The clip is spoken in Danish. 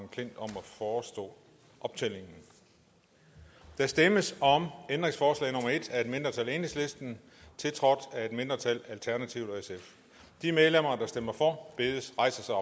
forestå optællingen der stemmes om ændringsforslag nummer en af et mindretal tiltrådt af et mindretal de medlemmer der stemmer for bedes rejse sig